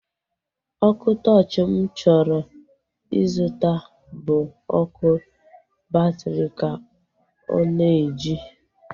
Ọkụ tọọchi mụ chọrọ ịzụta bụ ọkụ batri ka ọ na-eji